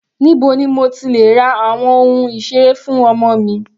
Níbo ni mo ti lè ra àwọn ohun ìseré fún ọmọ mi?